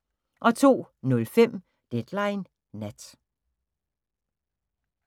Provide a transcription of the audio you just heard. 02:05: Deadline Nat